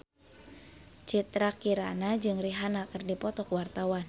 Citra Kirana jeung Rihanna keur dipoto ku wartawan